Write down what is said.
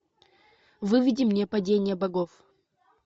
выведи мне падение богов